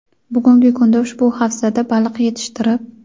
Bugungi kunda ushbu havzada baliq yetishtirib.